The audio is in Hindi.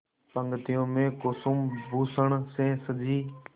पंक्तियों में कुसुमभूषण से सजी